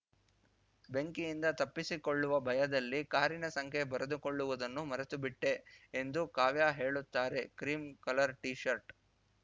ಬೆಂಕಿಯಿಂದ ತಪ್ಪಿಸಿಕೊಳ್ಳುವ ಭಯದಲ್ಲಿ ಕಾರಿನ ಸಂಖ್ಯೆ ಬರೆದುಕೊಳ್ಳುವುದನ್ನು ಮರೆತು ಬಿಟ್ಟೆ ಎಂದು ಕಾವ್ಯಾ ಹೇಳುತ್ತಾರೆ ಕ್ರೀಮ್‌ ಕಲರ್‌ ಟೀ ಶರ್ಟ್‌